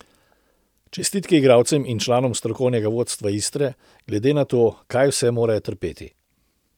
Čestitke igralcem in članom strokovnega vodstva Istre, glede na to, kaj vse morajo trpeti.